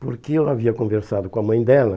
Porque eu havia conversado com a mãe dela.